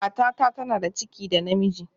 Matata tana da ciki da ɗa namiji